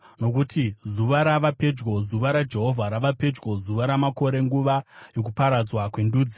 Nokuti zuva rava pedyo, zuva raJehovha rava pedyo, zuva ramakore, nguva yokuparadzwa kwendudzi.